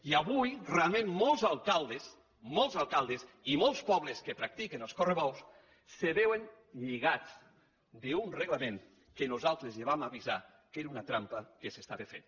i avui realment molts alcaldes molts alcaldes i molt pobles que practiquen els correbous se veuen lligats d’un reglament que nosaltres ja vam avisar que era una trampa que s’estava fent